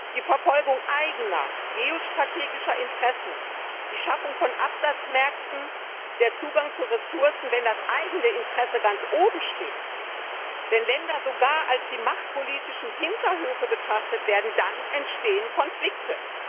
Die Verfolgung eigener geostrategischer Interessen, die Schaffung von Absatzmärkten, der Zugang zu Ressourcen Wenn das eigene Interesse ganz oben steht, wenn Länder sogar als die machtpolitischen Hinterhöfe betrachtet werden, dann entstehen Konflikte.